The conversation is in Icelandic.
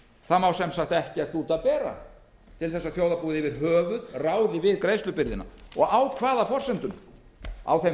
það má sem sagt ekkert út af bera til þess að þjóðarbúið yfir höfuð ráði við greiðslubyrðina á hvaða forsendum á þeim